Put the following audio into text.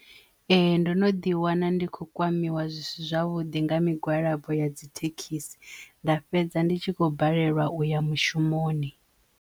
Ee ndo no ḓi wana ndi kho kwamiwa zwisi zwavhuḓi nga migwalabo ya dzithekhisi nda fhedza ndi tshi khou balelwa uya mushumoni.